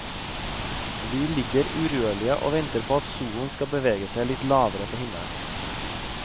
Vi ligger urørlige og venter på at solen skal bevege seg litt lavere på himmelen.